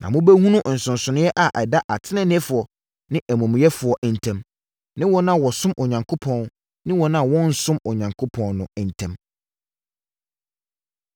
Na mobɛhunu nsonsonoeɛ a ɛda ateneneefoɔ ne amumuyɛfoɔ ntam, ne wɔn a wɔsom Onyankopɔn ne wɔn a wɔnnsom Onyankopɔn no ntam.